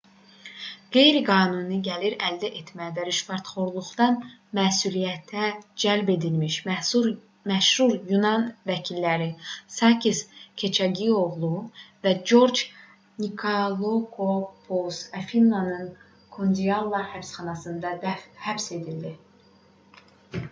qeyri qanuni gəlir əldə etmə və rüşvətxorluqdan məsuliyyətə cəlb edilmiş məşhur yunan vəkilləri sakis keçaqioqlu və corc nikolakopulos afinanın kordialla həbsxanasında həbs edildilər